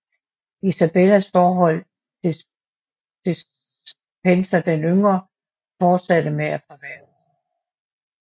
Isabellas forhold til Despenser den Yngre fortsatte med at forværres